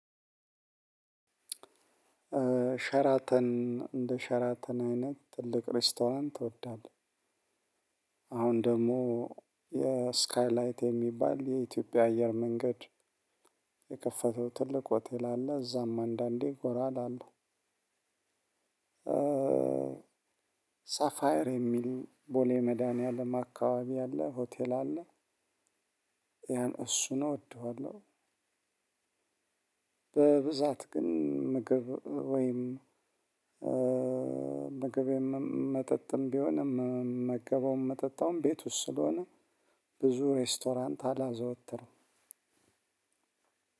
ሸራተን እንደ ሸራተን አይነት ትልቅ ሬስቶራንት ትወዳለህ? አሁን ደግሞ የስካይላይት የሚባል የኢትዮጵያ አየር መንገድ የከፈተው ትልቅ ሆቴል አለ እዛም አንዳንዴ ጎራ እላለሁ። ሳፋየር የሚል ቦሌ መድኃኒዓለም አካባቢ አለ ሆቴል አለ። ያን እሱ ነው እወደዋለሁ። በብዛት ግን ምግብ ወይም ምግብም መጠጥም ቢሆንም ምመገበውም መጠጣውም ቤት ውስጥ ስለሆነ። ብዙ ሬስቶራንት አላዘወተረም።